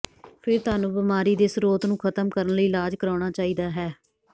ਫਿਰ ਤੁਹਾਨੂੰ ਬਿਮਾਰੀ ਦੇ ਸਰੋਤ ਨੂੰ ਖਤਮ ਕਰਨ ਲਈ ਇਲਾਜ ਕਰਾਉਣਾ ਚਾਹੀਦਾ ਹੈ